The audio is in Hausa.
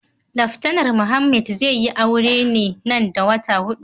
Laftanar Muhammed zai yi aure nan da wata hudu.